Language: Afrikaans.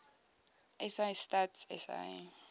sa stats sa